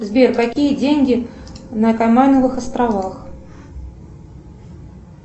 сбер какие деньги на каймановых островах